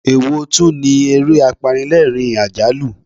Èwo tún ni ere apanilerin-ajalu?